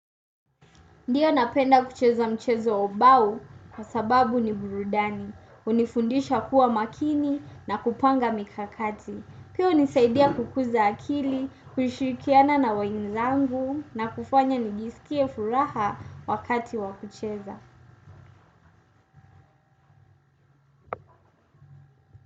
Ndiyo napenda kucheza mchezo wa ubao, kwa sababu ni burudani. Unifundisha kuwa makini na kupanga mikakati. Pia hunisaidia kukuza akili kushirikiana na wangu na kunifanya nijisikie furaha wakati wa kucheza.